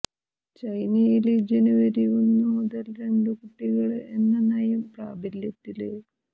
ചൈനയില് ജനുവരി ഒന്നു മുതല് രണ്ടു കുട്ടികള് എന്ന നയം പ്രാബല്യത്തില്